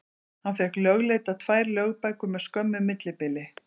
Hann fékk lögleiddar tvær lögbækur með skömmu millibili.